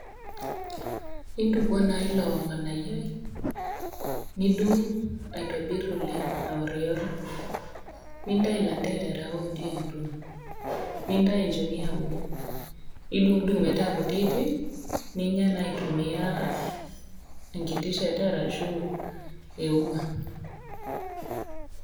Intukuo naa ilo nganayioi nidung aitobir oleng aorior, nintau landerera otii atua ,nintau nchoni eauluo nidungudung metaa kutitik ninya aitumia enkiti shata arashu euma.